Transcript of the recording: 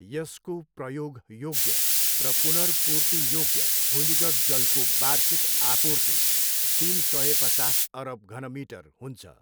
यसको प्रयोग योग्य र पुनर्पूर्ति योग्य भूमिगत जलको वार्षिक आपूर्ति तिन सय पचास अरब घनमिटर हुन्छ।